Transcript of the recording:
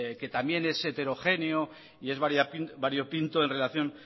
que también es heterogéneo y es variopinto en relación